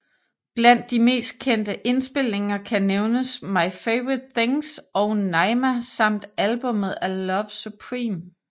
Blandt de mest kendte indspilninger kan nævnes My Favorite Things og Naima samt albummet A Love Supreme